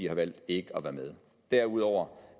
har valgt ikke at være med i derudover